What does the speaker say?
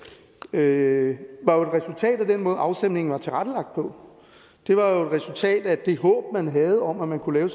det var jo et resultat af den måde afstemningen var tilrettelagt på det var jo et resultat af det håb man havde om at man kunne lave